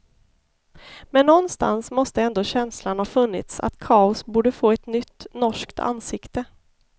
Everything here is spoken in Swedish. Men någonstans måste ändå känslan ha funnits att kaos borde få ett nytt, norskt, ansikte.